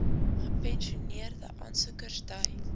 gepensioeneerde aansoekers dui